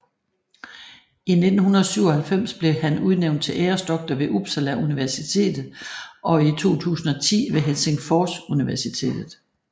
I 1997 blev han udnævnt til æresdoktor ved Uppsala Universitet og i 2010 ved Helsingfors Universitet